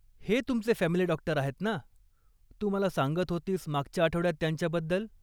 हे, तुमचे family doctor आहेत ना? तू मला सांगत होतीस मागच्या आठवड्यात त्यांच्याबद्दल.